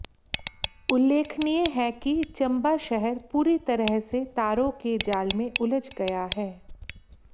उल्लेखनीय है कि चंबा शहर पूरी तरह से तारों के जाल में उलझ गया है